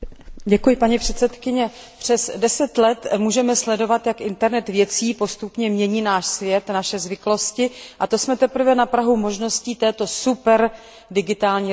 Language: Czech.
Přes deset let můžeme sledovat, jak internet věcí postupně mění náš svět, naše zvyklosti, a to jsme teprve na prahu možností této superdigitální revoluce.